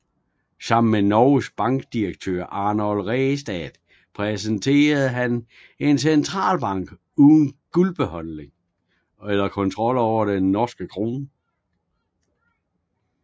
Sammen med Norges Banks direktør Arnold Ræstad repræsenterede han en centralbank uden guldbeholdning eller kontrol over den norske krone